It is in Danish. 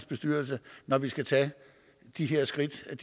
bestyrelse når vi skal tage de her skridt jeg